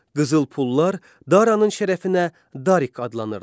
Qızıl pullar Daranın şərəfinə Darik adlanırdı.